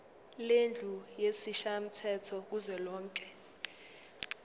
lendlu yesishayamthetho kuzwelonke